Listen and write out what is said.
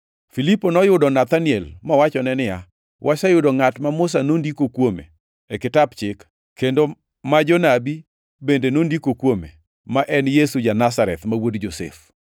Filipo noyudo Nathaniel mowachone niya, “Waseyudo ngʼat ma Musa nondiko kuome e kitap Chik, kendo ma jonabi bende nondiko kuome, ma en Yesu ja-Nazareth, ma wuod Josef.”